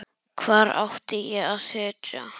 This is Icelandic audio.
Hvar átti ég þá að sitja?